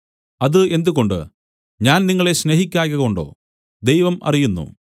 അത് എന്തുകൊണ്ട് ഞാൻ നിങ്ങളെ സ്നേഹിക്കായ്കകൊണ്ടോ ദൈവം അറിയുന്നു